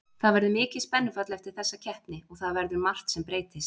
Það verður mikið spennufall eftir þessa keppni og það verður margt sem breytist.